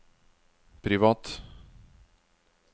privat